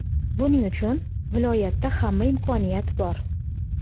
Buning uchun viloyatda hamma imkoniyat bor.